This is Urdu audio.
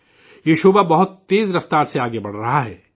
یہ شعبہ بہت تیز رفتار سے آگے بڑھ رہا ہے